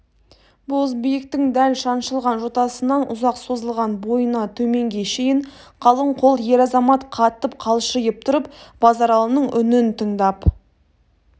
бозбиіктің дәл шаншылған жотасынан ұзақ созылған бойына төменге шейін қалың қол ер-азамат қатып қалшиып тұрып базаралының үнін тыңдап